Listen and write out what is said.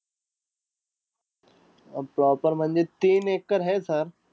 अं proper म्हणजे तीन acre हे sir.